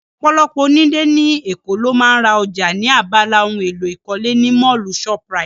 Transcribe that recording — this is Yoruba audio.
Ọ̀pọ̀lọpọ̀ onílé ní Èkó ló ń ra ọjà ní abala ohun èlò ìkọ́lé ní Mọ́ọ̀lù shoprite